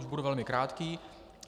Už budu velmi krátký.